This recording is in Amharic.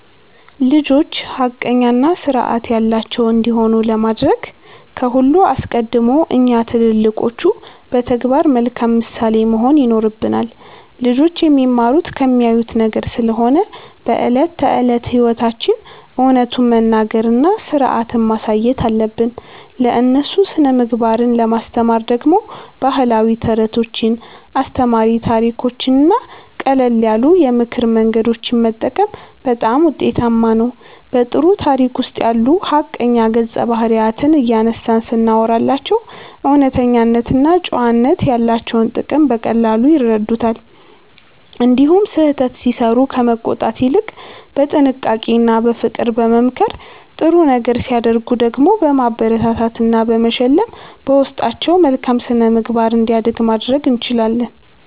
ልጆች ሐቀኛና ሥርዓት ያላቸው እንዲሆኑ ለማድረግ ከሁሉ አስቀድሞ እኛ ትልልቆቹ በተግባር መልካም ምሳሌ መሆን ይኖርብናል። ልጆች የሚማሩት ከሚያዩት ነገር ስለሆነ በዕለት ተዕለት ሕይወታችን እውነቱን መናገርና ሥርዓትን ማሳየት አለብን። ለእነሱ ሥነ-ምግባርን ለማስተማር ደግሞ ባህላዊ ተረቶችን፣ አስተማሪ ታሪኮችንና ቀለል ያሉ የምክር መንገዶችን መጠቀም በጣም ውጤታማ ነው። በጥሩ ታሪክ ውስጥ ያሉ ሐቀኛ ገጸ-ባህሪያትን እያነሳን ስናወራላቸው እውነተኝነትና ጨዋነት ያላቸውን ጥቅም በቀላሉ ይረዱታል። እንዲሁም ስህተት ሲሠሩ ከመቆጣት ይልቅ በጥንቃቄና በፍቅር በመምከር፣ ጥሩ ነገር ሲያደርጉ ደግሞ በማበረታታትና በመሸለም በውስጣቸው መልካም ሥነ-ምግባር እንዲያድግ ማድረግ እንችላለን።